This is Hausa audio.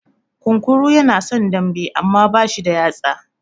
Kunkuru ya na son dambe, amma ba shi da yatsa.